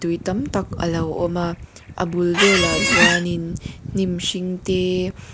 tui tam tak alo awm a a bul velah ah chuan in hnim hring tee--